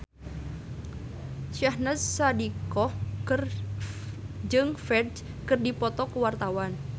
Syahnaz Sadiqah jeung Ferdge keur dipoto ku wartawan